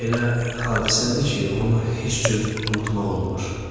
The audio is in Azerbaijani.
elə hadisədir ki, onu heç cür unutmaq olmur.